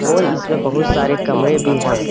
और इसमें बहुत सारे कमरे भी हैं।